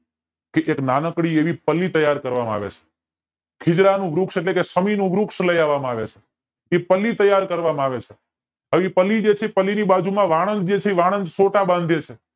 કે નાનકડી એવી પલ્લી તૈયાર કરવામાં આવે છે ખીજડાનું વૃક્ષ એટલે કે વૃક્ષ લય વામાં આવે છે પલ્લી તૈયાર કરવામાં આવે છે એ પલ્લી જે છે પલ્લી ની બાજુમાં વાણંદ જે છે વાણંદ છોટા બાંધે છે